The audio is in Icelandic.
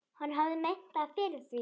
Hann hafði metnað fyrir því.